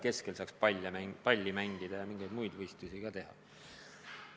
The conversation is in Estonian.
Keskel saaks palli mängida ja mingeid muid võistlusi ka teha.